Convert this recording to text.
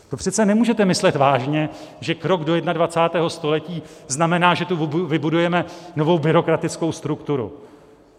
To přece nemůžete myslet vážně, že krok do 21. století znamená, že tu vybudujeme novou byrokratickou strukturu.